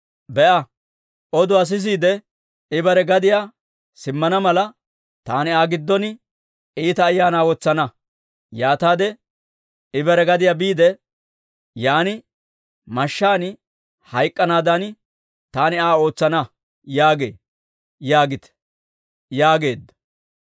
Be'a, oduwaa sisiide, I bare gadiyaa simmana mala, taani Aa giddon iita ayaanaa wotsana. Yaataade I bare gadiyaa biide, yaan mashshaan hayk'k'anaadan taani Aa ootsana» yaagee› yaagite» yaageedda.